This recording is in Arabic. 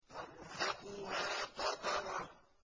تَرْهَقُهَا قَتَرَةٌ